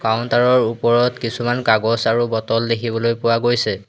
Counter ৰ ওপৰত কিছুমান কাগজ আৰু বটল দেখিবলৈ পোৱা গৈছে।